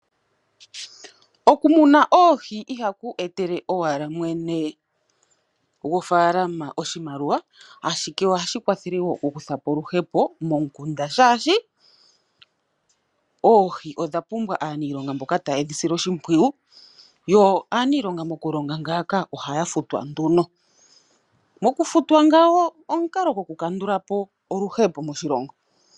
Okumuna oohi ihaku etele owala mwene gofaalama oshimaliwa, ashike ohashi kwathele wo okukutha po oluhepo momukunda, oshoka oohi odha pumbwa aaniilonga mboka taye dhi sile oshimpwiyu, yo aaniilonga mokulonga ngaaka ohaya futwa nduno. Okufutwa ngaka omukalo gokukandula po oluhepo moshilongo.